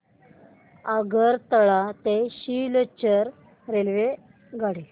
आगरतळा ते सिलचर रेल्वेगाडी